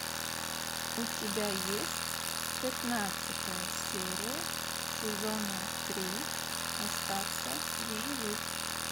у тебя есть пятнадцатая серия сезона три остаться в живых